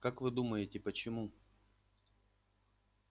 как вы думаете почему